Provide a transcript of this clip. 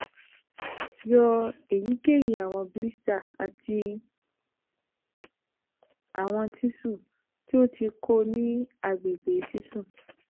two yọ eyikeyi awọn blisters ati awọn tisuu ti o ti ku ni agbegbe sisun